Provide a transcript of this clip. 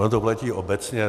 Ono to platí obecně.